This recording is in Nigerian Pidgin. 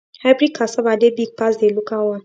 hybrid cassava dey big pass the local one